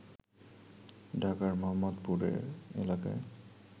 ঢাকার মোহাম্মদপুরে এলাকায়